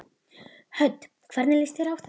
Hödd: Hvernig líst þér á þetta?